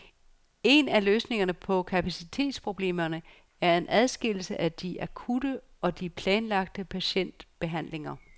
En af løsningerne på kapacitetsproblemerne er en adskillelse af de akutte og de planlagte patientbehandlinger.